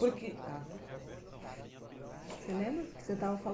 Porque ah tá só um instantinho você lembra do que você estava